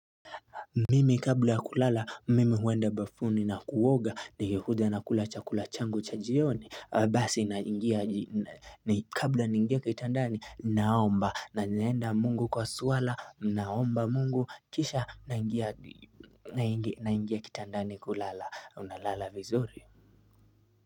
Mimi kabla ya kulala mimi huenda bafuni na kuoga nikikuja nakula chakula changu cha jioni Basi naingia kabla ningie kitandani naomba na naenda mungu kwa swala naomba mungu kisha na ingia kitandani kulala unalala vizuri.